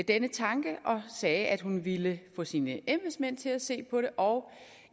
denne tanke og sagde at hun ville få sine embedsmænd til at se på det og